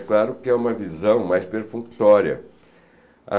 É claro que é uma visão mais perfunctória.